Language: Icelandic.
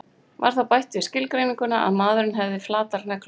Var þá bætt við skilgreininguna að maðurinn hefði flatar neglur.